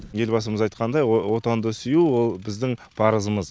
елбасымыз айтқандай отанды сүю ол біздің парызымыз